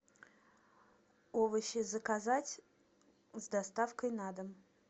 овощи заказать с доставкой на дом